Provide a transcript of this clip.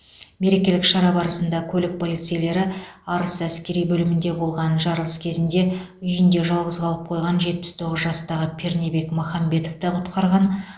мерекелік шара барысында көлік полицейлері арыс әскери бөлімінде болған жарылыс кезінде үйінде жалғыз қалып қойған жетпіс тоғыз жастағы пернебек махамбетовті құтқарған